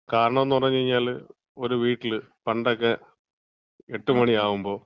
കാരണംന്ന് പറഞ്ഞ് കഴിഞ്ഞാല്, ഒരു വീട്ടില് പണ്ടൊക്കെ എട്ടുമണിയാവുമ്പോ